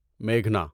میگھنا